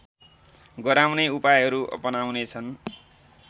गराउने उपायहरू अपनाउनेछन्